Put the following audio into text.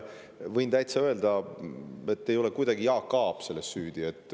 Võin täitsa öelda, et kuidagi ei ole Jaak Aab selles süüdi.